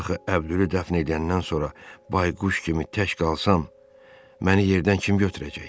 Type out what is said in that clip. Axı Əbdülü dəfn eləyəndən sonra bayquş kimi tək qalsam, məni yerdən kim götürəcək?